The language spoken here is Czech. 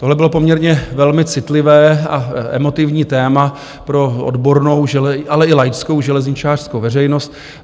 Tohle bylo poměrně velmi citlivé a emotivní téma pro odbornou, ale i laickou železničářskou veřejnost.